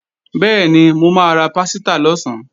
Bẹ́ẹ̀ni, mo máa ra pásítà lọ̀sán